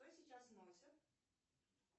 что сейчас носят